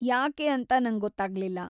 ಯಾಕೆ ಅಂತ ನಂಗೊತ್ತಾಗ್ಲಿಲ್ಲ.